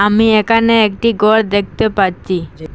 আমি একানে একটি গর দেখতে পাচ্চি।